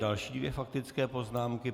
Další dvě faktické poznámky.